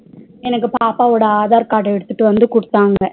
எனக்கு பாப்பாவோட aadhar card எடுத்துட்டுவந்து குடுத்தாங்க